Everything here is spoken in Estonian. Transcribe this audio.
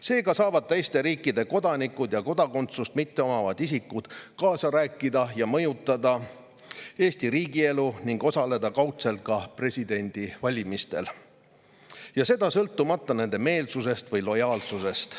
Seega saavad teiste riikide kodanikud ja kodakondsust mitteomavad isikud kaasa rääkida Eesti riigielus ja seda mõjutada ning osaleda kaudselt ka presidendivalimistel, seda sõltumata oma meelsusest või lojaalsusest.